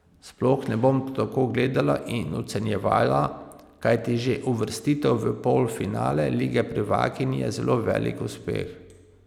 Sploh ne bom tako gledala in ocenjevala, kajti že uvrstitev v polfinale lige prvakinj je zelo velik uspeh.